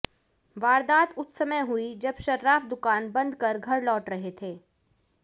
वारदात उस समय हुई जब सर्राफ दुकान बंद कर घर लौट रहे थे